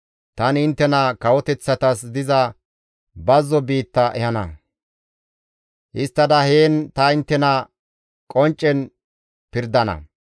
Tani inttena kawoteththatas diza bazzo biitta ehana; histtada heen ta inttena qonccen pirdana.